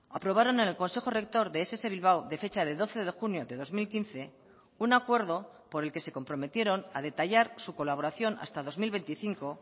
aprobaron en el consejo rector de ess bilbao de fecha de doce de junio de dos mil quince un acuerdo por el que se comprometieron a detallar su colaboración hasta dos mil veinticinco